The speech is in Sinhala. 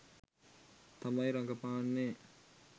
තමයි රඟපාන්නේ.